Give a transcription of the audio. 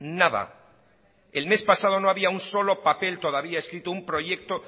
nada el mes pasado no había un solo papel todavía escrito un proyecto